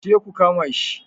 Ku je ku kama shi!